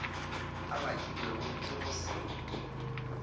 a bakilwego ke go se